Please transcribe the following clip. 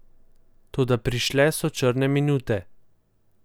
Toda prišle so črne minute.